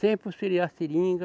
Sempre a seringa.